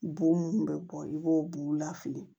Bo minnu bɛ bɔ i b'o buguw lafili